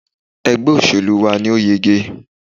Ẹgbẹ́ òṣèlú wa ni ó yege